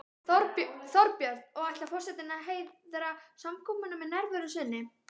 Þorbjörn: Og ætlar forsetinn að heiðra samkomuna með nærveru sinni?